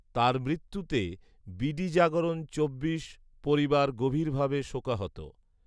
তাঁর মৃত্যুতে বিডিজাগরণ চব্বিশ পরিবার গভীরভাবে শোকাহত